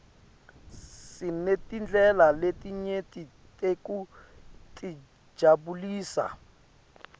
sinetindlela letinyeti tekutijabulisa